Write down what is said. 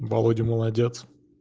володя молодец